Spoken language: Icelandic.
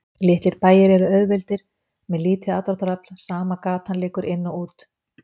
Litlir bæir eru auðveldir með lítið aðdráttarafl, sama gata liggur inn og út.